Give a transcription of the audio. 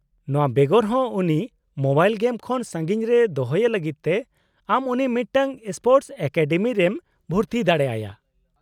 -ᱱᱚᱶᱟ ᱵᱮᱜᱚᱨ ᱦᱚᱸ ᱩᱱᱤ ᱢᱳᱵᱟᱭᱤᱞ ᱜᱮᱢ ᱠᱷᱚᱱ ᱥᱟᱺᱜᱤᱧ ᱨᱮ ᱫᱚᱦᱚᱭᱮ ᱞᱟᱹᱜᱤᱫ ᱛᱮ ᱟᱢ ᱩᱱᱤ ᱢᱤᱫᱴᱟᱝ ᱥᱯᱳᱨᱴᱚᱥ ᱮᱠᱟᱰᱮᱢᱤ ᱨᱮᱢ ᱵᱷᱩᱨᱛᱤ ᱫᱟᱲᱮ ᱟᱭᱟ ᱾